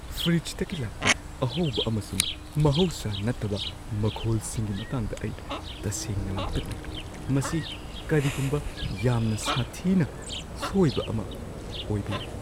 ꯐ꯭ꯔꯤꯖꯇꯒꯤ ꯂꯥꯛꯄ ꯑꯍꯧꯕ ꯑꯃꯁꯨꯡ ꯃꯍꯧꯁꯥ ꯅꯠꯇꯕ ꯃꯈꯣꯜꯁꯤꯡꯒꯤ ꯃꯇꯥꯡꯗ ꯑꯩ ꯇꯁꯦꯡꯅ ꯂꯥꯡꯇꯛꯅꯩ, ꯃꯁꯤ ꯀꯔꯤꯒꯨꯝꯕ ꯌꯥꯝꯅ ꯁꯥꯊꯤꯅ ꯁꯣꯏꯕ ꯑꯃ ꯑꯣꯏꯕ ꯌꯥꯏ꯫